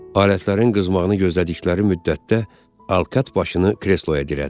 Alətlərin qızmağını gözlədikləri müddətdə Alkat başını kresloya dirədi.